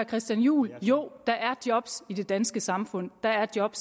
christian juhl jo der er job i det danske samfund der er job